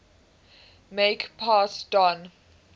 make pass don